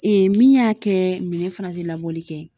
min y'a kɛ minɛn fana te labɔli kɛ.